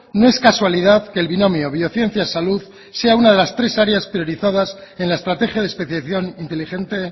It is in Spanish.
no es casualidad que el binomio biociencias salud sea una de las tres áreas en la estrategia de especiación inteligente